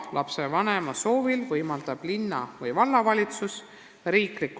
Lapsevanema soovil võimaldab linna- või vallavalitsus lasteaiakoha.